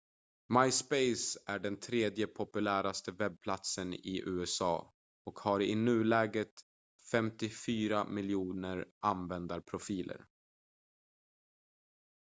myspace är den tredje populäraste webbplatsen i usa och har i nuläget 54 miljoner användarprofiler